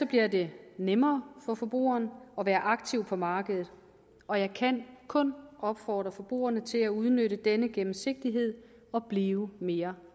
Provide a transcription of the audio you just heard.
bliver det nemmere for forbrugeren at være aktiv på markedet og jeg kan kun opfordre forbrugerne til at udnytte denne gennemsigtighed og blive mere